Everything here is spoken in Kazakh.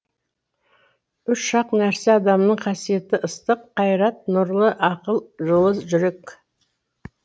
үш ақ нәрсе адамның қасиеті ыстық қайрат нұрлы ақыл жылы жүрек